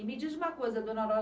E me diz uma coisa, dona Nora.